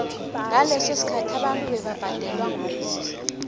ngaleso sikhathi abantu bebabhadelwa ngokudla